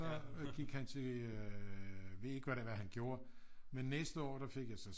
Så gik han til jeg ved ikke hvad det var han gjorde men næste år der fik jeg så